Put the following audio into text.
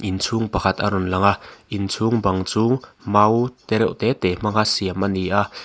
inchhung pakhat a rawn lang a inchhung bang chu mau te reuh te te hmanga siam a ni a--